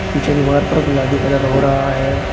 पीछे दीवार पर गुलाबी कलर हो रहा है।